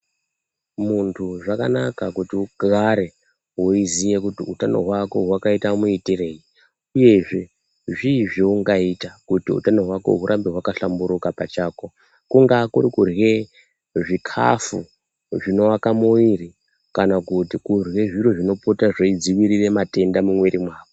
Muntu zvakanaka kuti ugare weiziye kuti utano hwako hwakaite muitirei, uyezve zvii zvoungaita kuti utano hwako hurambe hwakahlamburuka pachako, kungaa kuri kurye zvikhafu, zvinoaka muviri, kana kuti kurye zviro zvinopota zveidziirire matenda mumwiiri mwako.